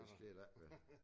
Det sker der ikke ved